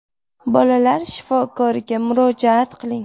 Bolalar shifokoriga murojaat qiling.